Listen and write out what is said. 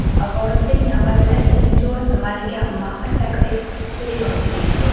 Vorislik navbatida ikkinchi o‘rin malika Maxa Chakri Siridonga tegishli.